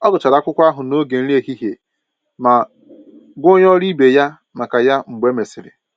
Ọ gụchara akwụkwọ ahụ n'oge nri ehihie ma gwa onye ọrụ ibe ya maka ya mgbe e mesịrị